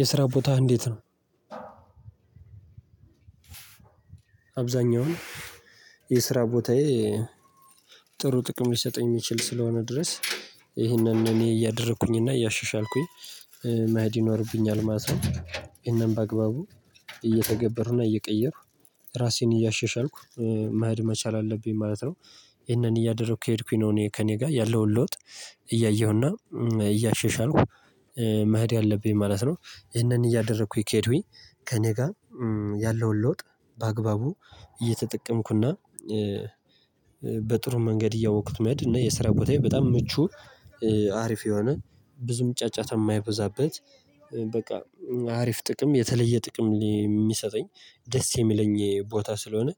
የስራ ቦታህ እንዴት ነው? አብዛኛውን የስራ ቦታዬ ጥሩ ጥቅም ሊሰጠኝ የሚችል እስከሆነ ድረስ ይሄንን እኔ እያደረኩኝ እያሻሻልኩኝ መሄድ ይኖርብኛል ማለት ነው። እኔም በአግባቡ እየተገበሩና እየቀየሩ ራሴን እያሸሻልኩ መሄድ መቻል አለብኝ ማለት ነው። ይሄንን እያደረኩ ከሄድኩኝ ነው እኔ ከእኔ ጋር ያለውን ለውጥ እያየሁና እያሸሻልኩ መሄድ አለብኝ ማለት ነው። ይሄንን እያደረኩኝ ከሄዱኝ ከእኔ ጋር ያለውን ለውጥ በአግባቡ እየተጠቀምኩና በጥሩ መንገድ እያወቅኩት መሄድ እና የስራ ቦታዬ በጣም ምቹ አሪፍ የሆነ ብዙም ጫጫታ የማይበዛበት በቃ አሪፍ ጥቅም የተለየ ጥቅም የሚሰጠኝ ደስ የሚለኝ ቦታ ስለሆነ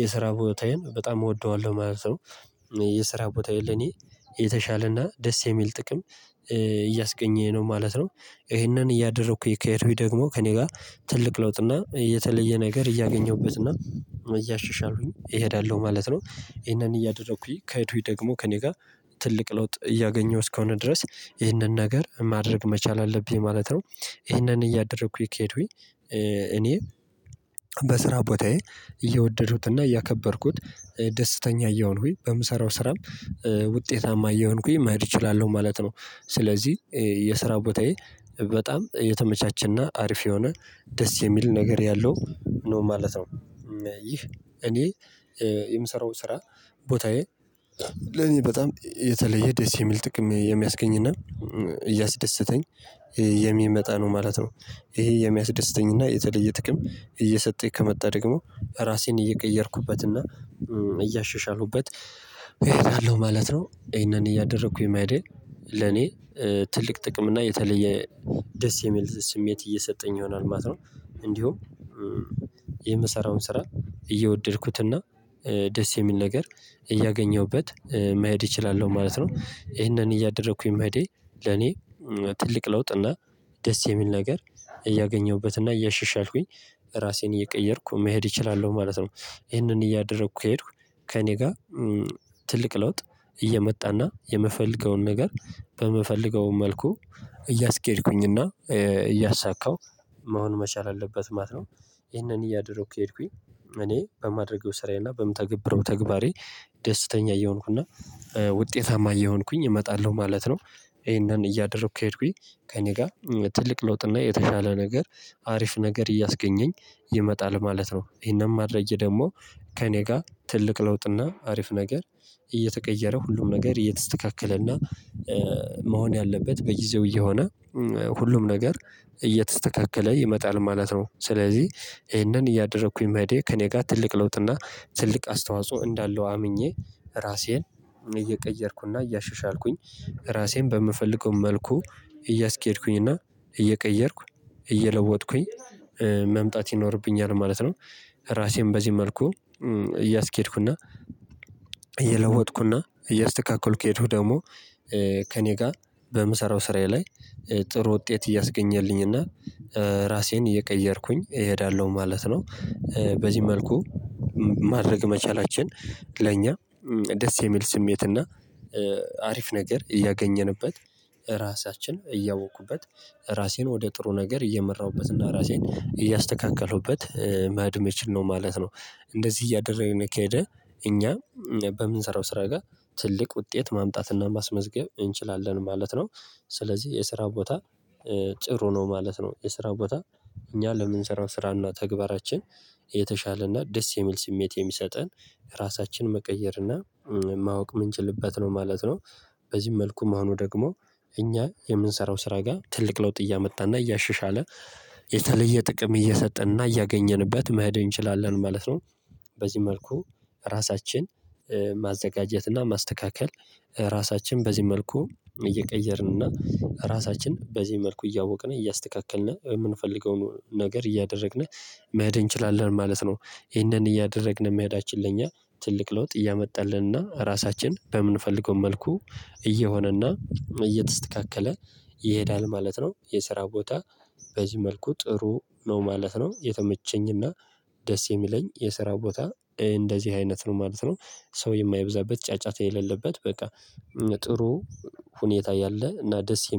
የስራ ቦታዬን በጣም እወደዋለሁ ማለት ነው። የስራ ቦታዬን ለኔ የተሻለና ደስ የሚል ጥቅም እያስገኘኝ ነው ማለት ነው። ይሄንን እያደረኩኝ ከሄድኩኝ ደግሞ ከእኔ ጋር ትልቅ ለውጥ እና የተለየ ነገር እያገኘሁበት እና እያሻሻሁኝ እሄዳለሁ ማለት ነው። ይሄንን እያደረኩኝ ከሄድኩኝ ደግሞ ከእኔ ጋር ትልቅ ለውጥ እያገኘሁ አስከከሆነ ድረስ ይሄንን ነገር ማድረግ መቻል አለብኝ ማለት ነው። ይህንን እያደረኩኝ ከሄዱኝ እኔ በስራ ቦታዬ እየወደድኩትና፤ እያከበርኩት፤ ደስተኛ እየሆንኩኝ፤ በምሰራው ስራም ውጤታማ እየሆንኩኝ፤ መሄድ እችላለሁ ማለት ነው። ስለዚህ የስራ ቦታዬ በጣም እየተመቻችና አሪፍ የሆነ ደስ የሚል ነገር ያለው ነው ማለት ነው። ይህ እኔ የምሰራው ስራ ቦታዬ ለኔ በጣም የተለየ ደስ የሚል ጥቅም የሚያስገኝና፤ እያስደሰተኝ የሚመጣ ነው ማለት ነው። ይሄ የሚያስደስተኝ እና የተለየ ጥቅም እየሰጠኝ ከመጣ ደግሞ ራሴን እየቀየርኩበትና እያሸሻልኩበት እሄዳለሁ ማለት ነው። ይሄንን እያደረኩኝ መሄዴ ለኔ ትልቅ ጥቅም እና የተለየ ደስ የሚል ስሜት እየሰጠኝ ይሆናል ማለት ነው። እንዲሁም የምሰራውን ስራ እየወደድኩትና ደስ የሚል ነገር እያገኘሁበት መሄድ እችላለሁ ማለት ነ። ይሄንን እያደረኩኝ መሄዴ ለኔ ትልቅ ለውጥ እና ደስ የሚል ነገር እያገኘሁበት እና እያሸሸ አልኩኝ ራሴን እየቀየርኩ መሄድ እችላለሁ ማለት ነው። ይሄንን እያደረኩ ከሄድኩ ከእኔ ጋር ትልቅ ለውጥ እየመጣና የምፈልገውን ነገር በምፈለገው መልኩ እያስኬድኩኝና እያሳካው መሆን መቻል አለበት ማለት ነው። ይህንን እያደረኩኝ ከሄድኩኝ እኔ በማደርገው ስራዬና በምተገብረው ተግባሬ ደስተኛ እየሆንኩና ውጤታማ እየሆንኩኝ እመጣለሁ ማለት ነው። ይሄንን እያደረኩኝ ከሄድኩኝ ከእኔ ጋር ትልቅ ለውጥና የተሻለ ነገር አሪፍ ነገር እያስገልኝ ይመጣል ማለት ነው። ይሄንን ማድረጌ ደግሞ ከእኔ ጋር ትልቅ ለውጥና አሪፍ ነገር እየተቀየረ ሁሉም ነገር እየተስተካከለና መሆን ያለበት በጊዜው እየሆነ ሁሉም ነገር እየተስተካከለ ይመጣል ማለት ነው። ስለዚህ ይሄንን እያደረኩኝ መሄዴ ከእኔ ጋር ትልቅ ለውጥና ትልቅ አስተዋጽኦ እንዳለው አምኜ ራሴን እየቀየርኩና እያሸሻልኩኝ ራሴን በምፈልገው መልኩ እያስኬድኩኝ እና እየቀየርኩ እየለወጥኩኝ መምጣት ይኖርብኛል ማለት ነው። ራሴን በዚህ መልኩ እያስኬድኩ፤ እየለወጥኩና እያስተካከልኩ የሄደው ደግሞ ከእኔ ጋር በምሰራው ስራዬ ላይ ጥሩ ውጤት እያስገኘልኝ እና ራሴን እየቀየርኩኝ እሄዳለሁ ማለት ነው። በዚህ መልኩ ማድረግ መቻላችን ለእኛ ደስ የሚል ስሜት እና አሪፍ ነገር እያገኘንበት ራሳችንን እያወቅኩበት ራሴን ወደ ጥሩ ነገር እየመራሁበትና ራሴን እያስተካከለሁበት መሄድ የሚችል ነው ማለት ነው እንደዚህ እያደረግን ከሄደ እኛ በምንሰራው ስራ ጋር ትልቅ ውጤት ማምጣትና ማስመዝገብ እንችላለን ማለት ነው። ስለዚህ የስራ ቦታ ጥሩ ነው ማለት ነው። የስራ ቦታ እኛ ለምንሰራው ስራና ተግባራችን የተሻለና ደስ የሚል ስሜት የሚሰጠን ራሳችንን መቀየር እና ማወቅ ምንችልበት ነው ማለት ነው። በዚህ መልኩም መሆኑ ደግሞ እኛ የምንሰራው ስራ ጋር ትልቅ ለውጥ እያመጣና እያሸሻለ የተለየ ጥቅም እየሰጠንና እያገኘንበት መሄድ እንችላለን ማለት ነው። በዚህ መልኩ ራሳችን ማዘጋጀትና ማስተካከል ራሳችን በዚህ መልኩ እየቀየርን እና ራሳችን በዚህ መልኩ እያወቅ፣ እያስተካከልን የምንፈልገውን ነገር እያደረግን መሄድ እንችላለን ማለት ነው። ይሄንን እያደረግን መሄዳችን ለኛ ትልቅ ለውጥ እያመጣልን፤ ራሳችን በምንፈልገው መልኩ እየሆነና እየተስተካከለ ይሄዳል ማለት ነው። የስራ ቦታ በዚህ መልኩ ጥሩ ነው ማለት ነው። የተመቸኝና ትልቅ ለውጥ እየመጣና የምፈልገውን ነገር በምፈለገው መልኩ እያስኬድኩኝና እያሳካው መሆን መቻል አለበት ማለት ነው። ይህንን እያደረኩ ከሄድኩኝ እኔ በማድረግ ውስጥ ስራዬን እና በምተግብረው ተግባሬ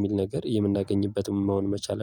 ደስተኛ እየሆንኩኝ እና